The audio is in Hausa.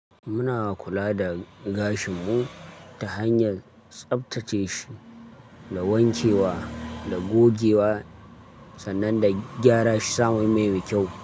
Muna kula da gashin mu ta hanyar tsaftace shi da wanke wa da gogewa sannan da gyara shi sa mai, mai mekyau.